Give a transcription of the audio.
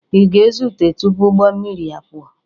Ị ga-ezute tupu ụgbọ mmiri apụọ?